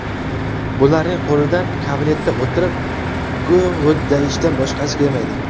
Bularning qo‘lidan kabinetda o‘tirib, g‘o‘ddayishdan boshqasi kelmaydi.